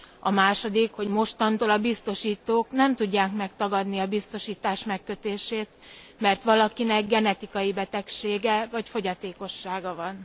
A második, hogy mostantól a biztosítók nem tudják megtagadni a biztosítás megkötését, mert valakinek genetikai betegsége vagy fogyatékossága van.